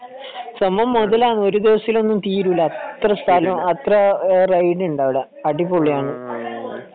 സംഭവം മുതലാണ് ഒരു ദിവസത്തിലൊന്നും തീരൂല അത്ര സ്ഥലം അത്ര റൈഡ് ഉണ്ട് അവിടെ അടിപൊളിയാണ്